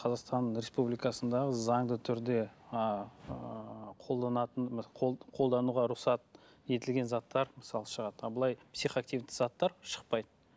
қазақстан республикасындағы заңды түрде ыыы қолдануға рұқсат етілген заттар мысалы шығады ал былай психоавтивті заттар шықпайды